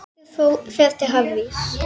Peter fer til Harrys.